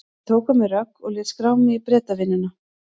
Ég tók á mig rögg og lét skrá mig í Bretavinnuna.